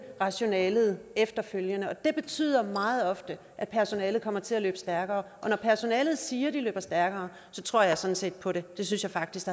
rationalet efterfølgende det betyder meget ofte at personalet kommer til at løbe stærkere og når personalet siger at de løber stærkere så tror jeg sådan set på det det synes jeg faktisk